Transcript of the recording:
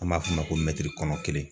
An b'a f'o ma ko kɔnɔ kelen.